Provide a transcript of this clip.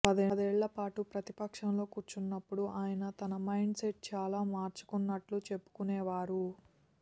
పదేళ్ళపాటు ప్రతిపక్షంలో కూర్చొన్నప్పుడు ఆయన తన మైండ్ సెట్ చాలా మార్చుకొన్నట్లు చెప్పుకొనేవారు